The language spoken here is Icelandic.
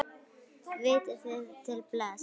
Vitið þið til þess?